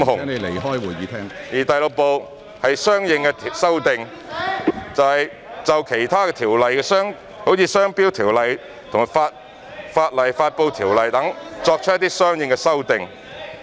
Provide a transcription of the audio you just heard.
《條例草案》第6部是"相應修訂"，是就其他條例，即《商標條例》和《法例發布條例》作出的相應修訂。